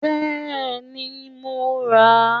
Bẹ́ẹ̀ni, mo rà á